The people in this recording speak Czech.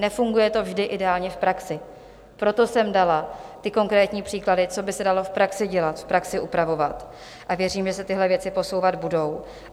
Nefunguje to vždy ideálně v praxi, proto jsem dala ty konkrétní příklady, co by se dalo v praxi dělat, v praxi upravovat, a věřím, že se tyhle věci posouvat budou.